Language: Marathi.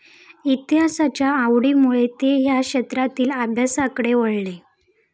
इतिहासाच्या आवडीमुळे ते या क्षेत्रातील अभ्यासाकडे वळले.